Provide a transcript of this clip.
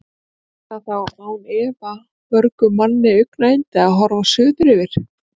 Yrði það þá án efa mörgum manni augnayndi, að horfa suður yfir